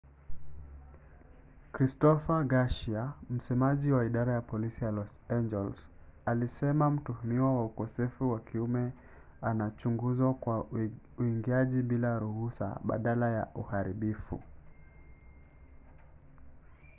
christopher garcia msemaji wa idara ya polisi ya los angeles alisema mtuhumiwa wa ukosefu wa kiume anachunguzwa kwa uingiaji bila ruhusa badala ya uharibifu